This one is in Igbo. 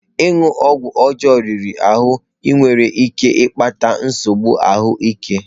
Ịṅụ ọgwụ ọjọọ riri ahụ nwere ike ịkpata nsogbu ahụ ike.